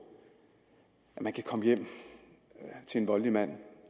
at man kan komme hjem til en voldelig mand